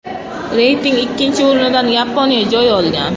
Reyting ikkinchi o‘rnidan Yaponiya joy olgan.